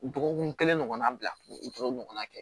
Dɔgɔkun kelen ɲɔgɔnna bila o tonto ɲɔgɔnna kɛ